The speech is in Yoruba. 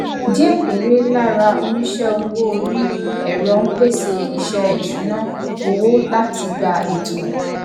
díẹ péré lára oníṣẹ owó orí ẹrọ ń pèsè iṣẹ ìṣúnná owó láti gbé ètò